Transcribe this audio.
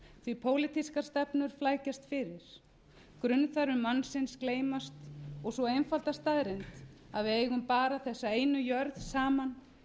því pólitískar stefnur flækjast fyrir grunnþarfir mannsins gleymast og sú einfalda staðreynd að við eigum bara þessa einu jörð saman